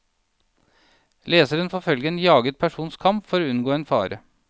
Leseren får følge en jaget persons kamp for å unngå en fare.